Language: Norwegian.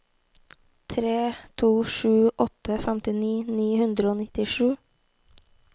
tre to sju åtte femtini ni hundre og nittisju